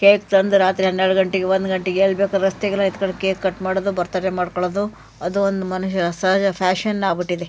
Cake ತಂದು ರಾತ್ರಿ ಹನ್ನೆರಡು ಗಂಟೆಗೆ ಒಂದು ಗಂಟೆಗೆ ಎಲ್ಲಿ ಬೇಕಾದ್ರುರಸ್ತೆಗೆಲ್ಲಾ ಎತ್ಕೊಂಡು ಕೇಕು ಕಟ್ ಮಾಡೋದು ಬರ್ತ್ಡೇ ಮಾಡಿ ಕೊಳ್ಳೋದು ಅದು ಒಂದು ಮನುಷ್ಯನ ಸಹಜ ಫ್ಯಾಷನ್ ಆಗಿಬಿಟ್ಟಿದೆ.